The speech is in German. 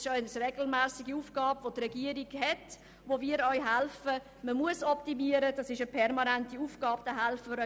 Das ist eine regelmässige Aufgabe der Regierung, bei welcher wir auch helfen.